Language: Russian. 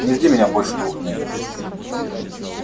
не жди меня больше двух дней